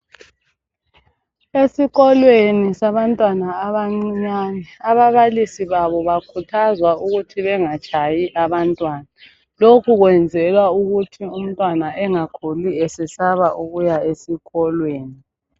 Esikolweni sabantwana abancinyane ababalisi babo bakhuthazwa ukuthi bengatshayi abantwana. Lokhu kwenzelwa ukuthi umntwana engakhuli esesaba ukuya esikolweni.